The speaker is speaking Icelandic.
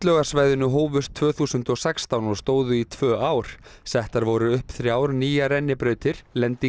á sundlaugarsvæðinu hófust tvö þúsund og sextán og stóðu í tvö ár settar voru upp þrjár nýjar rennibrautir